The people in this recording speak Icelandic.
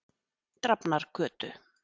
Drafnargötu